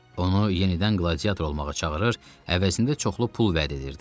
Onu yenidən qladiator olmağa çağırır, əvəzində çoxlu pul vəd edirdi.